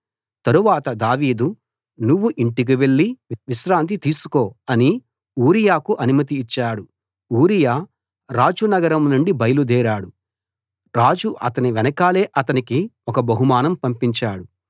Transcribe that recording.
తరువాత దావీదు నువ్వు ఇంటికి వెళ్లి విశ్రాంతి తీసుకో అని ఊరియాకు అనుమతి ఇచ్చాడు ఊరియా రాజు నగరం నుండి బయలుదేరాడు రాజు అతని వెనకాలే అతనికి ఒక బహుమానం పంపించాడు